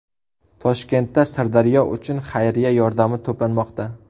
Toshkentda Sirdaryo uchun xayriya yordami to‘planmoqda.